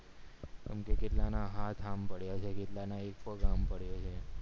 એમ કે કેટલા ના હાથ આમ પડ્યા છે કેટલાની એક પગ આમ પડ્યો છે